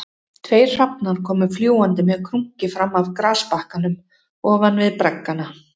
Tveir hrafnar komu fljúgandi með krunki fram af grasbakkanum ofan við braggana